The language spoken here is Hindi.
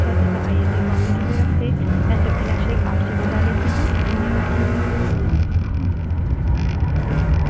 यह स्क्रिप्ट देवेन्द्र कैरवान द्वारा अनुवादित है तथा आई आई टी बॉम्बे की तरफ से मैं सकीना शेख अब आप से विदा लेती हूँ धन्यवाद